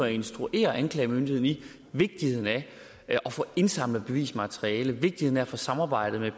instruere anklagemyndigheden i vigtigheden af at få indsamlet bevismateriale vigtigheden af at få samarbejdet med